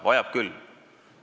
Vajab küll!